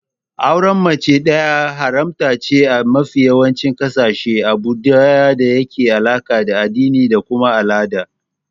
Auren mace fiye da ɗaya haramtaccene a mafi yawancin ƙasashe, abune da yake da alaka da addini da kuma al'ada.